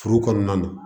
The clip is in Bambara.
Furu kɔnɔna na